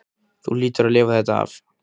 Þú hlýtur að lifa þetta af.